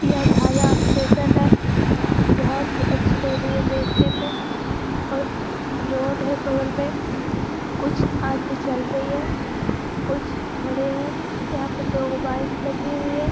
यह छाया स्टेशन है बहुत ही अच्छी लग रही है देखने में और रोड है बगल में कुछ आदमी चल रहे हैं कुछ ठहरे हैं यहां पर दो बाइक लगी हुई है।